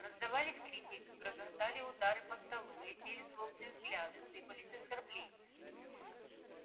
раздавались крики грохотали удары по столу летели злобные взгляды сыпались оскорбления